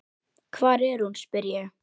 Hvar er hún, spyr ég.